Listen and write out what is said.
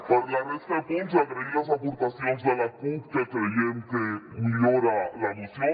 per a la resta de punts agrair les aportacions de la cup que creiem que millora la moció